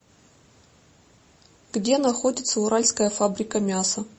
где находится уральская фабрика мяса